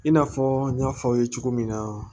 I n'a fɔ n y'a fɔ aw ye cogo min na